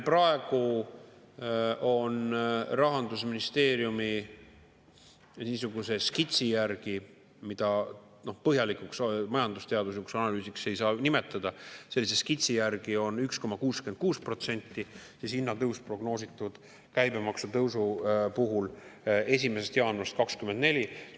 Praegu on Rahandusministeeriumi niisuguse skitsi järgi, mida põhjalikuks majandusteaduslikuks analüüsiks ei saa nimetada, prognoositud 1,66% hinnatõusu käibemaksu tõusu puhul 1. jaanuarist 2024.